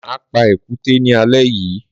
Má pa èkúté ni alé yìí.